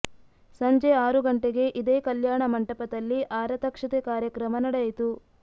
ಸಂಜೆ ಆರು ಗಂಟೆಗೆ ಇದೇ ಕಲ್ಯಾಣ ಮಂಟಪದಲ್ಲಿ ಆರತಕ್ಷತೆ ಕಾರ್ಯಕ್ರಮ ನಡೆಯಿತು